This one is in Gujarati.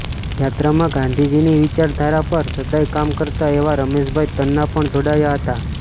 યાત્રામાં ગાંધીજીની વિચારધારા પર સદાય કામ કરતા એવા રમેશભાઈ તન્ના પણ જોડાયા હતા